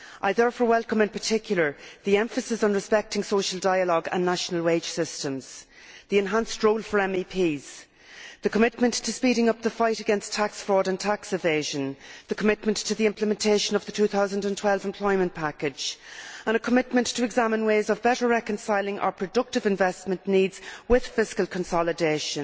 I therefore welcome in particular the emphasis on respecting social dialogue and national wage systems, the enhanced role for MEPs, the commitment to speeding up the fight against tax fraud and tax evasion, the commitment to the implementation of the 2012 employment package and a commitment to examine ways of better reconciling our productive investment needs with fiscal consolidation.